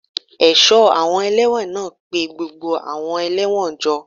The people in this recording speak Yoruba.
Aṣọ́ àwọn ẹlẹ́wọ̀n náà pé gbogbo àwọn ẹlẹ́wọ̀n jọ